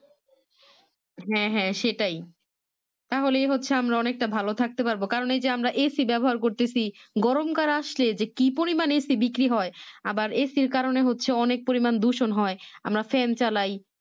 হ্যাঁ হ্যাঁ সেটাই তাহলেই হচ্ছে আমরা অনেকটা ভালো থাকতে পারবো কারণ এই যে আমরা AC ব্যবহার করতেছি গরমকাল আসলে যে কি পরিমানে AC বিক্রি হয় আবার AC কারণে অনেক পরিমান দূষণ হয় আমরা fan চালায়